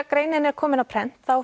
greinin er komin á prent